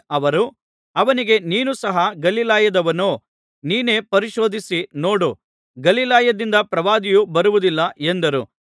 ಅವರು ಅವನಿಗೆ ನೀನು ಸಹ ಗಲಿಲಾಯದವನೋ ನೀನೇ ಪರಿಶೋಧಿಸಿ ನೋಡು ಗಲಿಲಾಯದಿಂದ ಪ್ರವಾದಿಯು ಬರುವುದಿಲ್ಲ ಎಂದರು